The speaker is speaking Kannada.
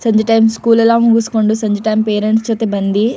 ಸಂಜೆ ಟೈಮ್ ಸ್ಕೂಲ್ ಎಲ್ಲ ಮುಗಿಸ್ಕೊಂಡು ಸಂಜೆ ಟೈಮ್ ಪೇರೆಂಟ್ಸ್ ಜೊತೆ ಬಂದಿ--